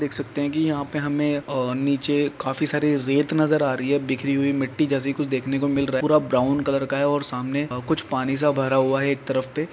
देख सकते है कि यहाँ पे हमें और नीचे काफी सारे रेत नज़र आ रही है बिखरी हुई मिटटी जैसी कुछ देखने को मिल रहा है पूरा ब्राउन कलर का है और सामने अ-कुछ पानी सा भरा हुआ है एक तरफ पे--